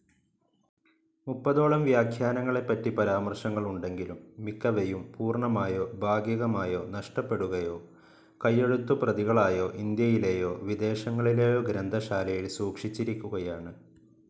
മുപ്പതോളം വ്യാഖ്യാനങ്ങളെപ്പറ്റി പരാമർശങ്ങളുണ്ടെങ്കിലും, മിക്കവയും പൂർണ്ണമായോ ഭാഗികമായോ നഷ്ടപ്പെടുകയോ കൈയെഴുത്തുപ്രതികളായി ഇൻഡ്യയിലെയോ വിദേശങ്ങളിലെയോ ഗ്രന്ഥശാലയിൽ സൂക്ഷിച്ചിരിക്കുകയാണ്.